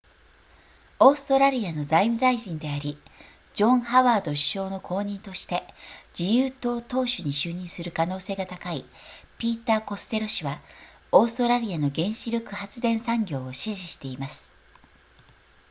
オーストラリアの財務大臣でありジョンハワード首相の後任として自由党党首に就任する可能性が高いピーターコステロ氏はオーストラリアの原子力発電産業を支持しています